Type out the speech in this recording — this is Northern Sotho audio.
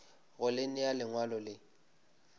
go le nea lengwalo le